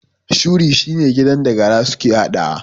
Shuri shine gidan da gara suke haɗawa